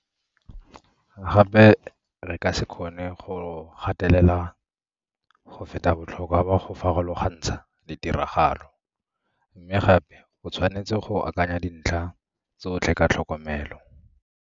Gape, re ka se kgone go gatelela go feta botlhokwa ba go farologantsha ditiragalo. Mme gape o tshwanetse go akanya dintlha tsotlhe ka tlhokomelo.